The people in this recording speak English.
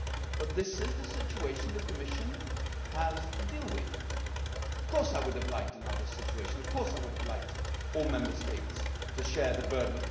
But this is the situation the Commission has to deal with. Of course I would have liked another situation. Of course I would have liked all Member States to share the burden.